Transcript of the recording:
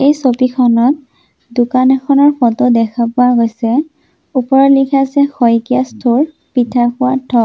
এই ছবিখনত দোকান এখনৰ ফটো দেখা পোৱা গৈছে ওপৰত লিখা আছে শইকীয়া ষ্ট'ৰ পিঠাখোৱা ঢক।